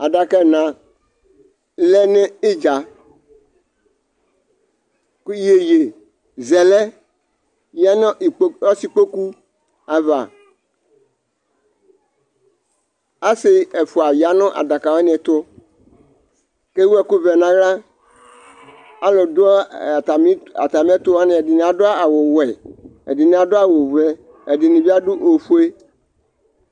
Adaka ɛna lɛ n'idza kʋ yeyezɛlɛ yanʋ , lkpo ɔsikpoku ava Asi ɛfua yanʋ adaka wni ɛtʋ kewu ɛkʋ vɛ n'aɣla Alʋ dʋ ɛ a atami, atamiɛtʋ wani, ɛdini adʋ awʋ wɛ, ɛdini adʋ awʋ vɛ, ɛdini bi adʋ ofue